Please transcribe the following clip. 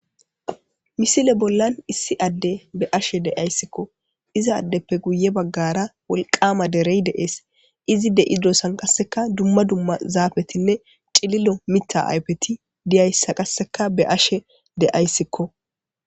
misile bollan issi adde be ashe de7ayssikko izaaddeppe guye baggara wolqama derey deees izi de7idosan qasseka dumma dumma zaafetinne cililo mita aypeti diyayssa qasseka be ashe de7ayssikko